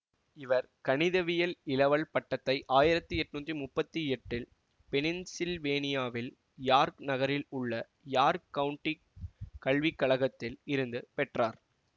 இவர் கணிதவியல் இளவல் பட்டத்தை ஆயிரத்தி எட்ணூத்தி முப்பத்தி எட்டில் பென்னிசில்வேனியாவில் யார் நகரில் உள்ள யார் கவுண்டிக் கல்விக்கழகத்தில் இருந்து பெற்றார்